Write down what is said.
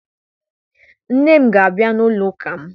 Nne m ga-abịa n'ụlọụka m